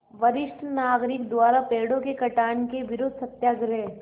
वरिष्ठ नागरिक द्वारा पेड़ों के कटान के विरूद्ध सत्याग्रह